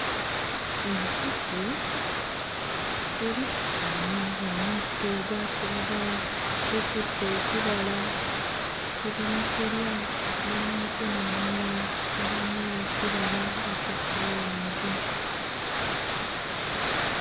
Ezzike lisitamye mu muddo ogwa kiragala, likutte ekibala liri mu kulya. Ne mu mukono omulala mulimu ekibala ekya orange.